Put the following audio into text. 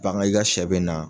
Bagan i ka shɛ bɛ na